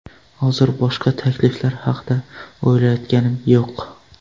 Hozir boshqa takliflar haqida o‘ylayotganim yo‘q.